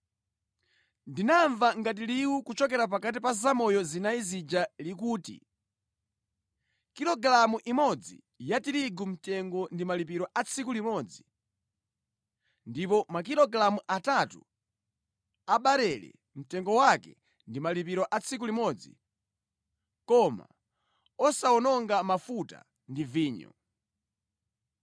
Ndinamva ngati liwu kuchokera pakati pa zamoyo zinayi zija likuti, “Kilogalamu imodzi ya tirigu mtengo ndi malipiro a tsiku limodzi ndipo makilogalamu atatu a barele mtengo wake ndi malipiro a tsiku limodzi koma usawononge mafuta ndi vinyo!”